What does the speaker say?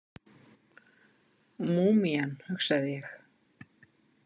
Múmían, hugsaði ég.